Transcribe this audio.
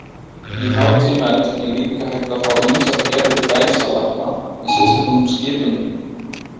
Í HTML er líka hægt að fá ýmsar gerðir gæsalappa með sérstökum skipunum.